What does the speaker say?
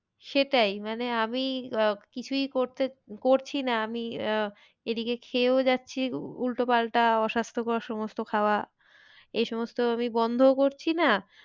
সেটাই মানে আমি আহ কিছুই করতে, করছি না আমি আহ এদিকে খেয়েও যাচ্ছি উহ উল্টো পাল্টা অস্বাস্থ্যকর সমস্ত খাওয়া এ সমস্ত আমি বন্ধও করছি না